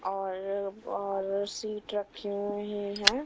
और और सीट रखी हुई है।